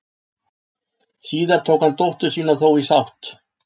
Síðar tók hann dóttur sína þó í sátt.